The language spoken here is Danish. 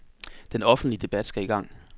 Den offentlige debat skal i gang.